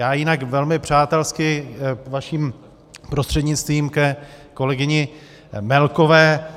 Já jinak velmi přátelsky vaším prostřednictvím ke kolegyni Melkové.